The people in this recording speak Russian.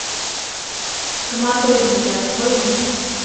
коматозники открой мне